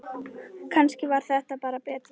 Kannski var það bara betra.